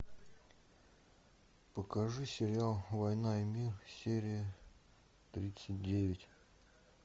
покажи сериал война и мир серия тридцать девять